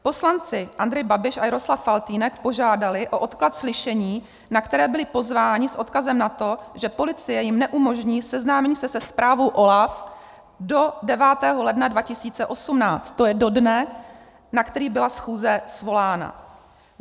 Poslanci Andrej Babiš a Jaroslav Faltýnek požádali o odklad slyšení, na které byli pozváni, s odkazem na to, že policie jim neumožní seznámení se se zprávou OLAF do 9. ledna 2018, to je do dne, na který byla schůze svolána.